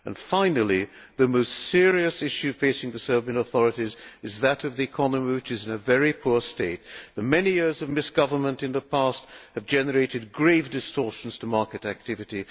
Finally, the most serious issue facing the Serbian authorities is that of the economy, which is in a very poor state. The many years of misgovernment in the past have generated grave distortions to market activity.